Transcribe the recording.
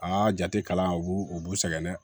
Aa jate kalan u b'u u b'u sɛgɛn dɛ